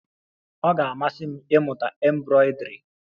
Ọ ga-amasị m ịmụta embroidri